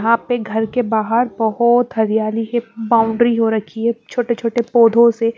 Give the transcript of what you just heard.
यहां पे घर के बाहर बहुत हरियाली के बाउंड्री हो रखी है छोटे-छोटे पौधों से--